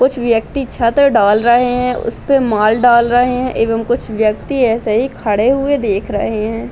कुछ व्यक्ति छत डाल रहे हैं । उसपे माल डाल रहे हैंएवं कुछ व्यक्ति ऐसे ही खड़े हुए देख रहे हैं ।